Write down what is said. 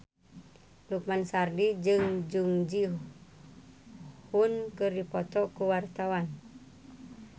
Lukman Sardi jeung Jung Ji Hoon keur dipoto ku wartawan